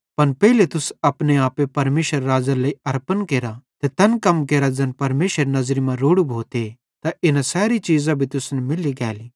पन पेइले तुस अपने आपे परमेशरेरे राज़्ज़ेरे लेइ अरपन केरा ते तैन कम केरा ज़ैन परमेशरेरी नज़री मां रोड़ू भोते त इना सैरी चीज़ां भी तुसन मैल्ली गैली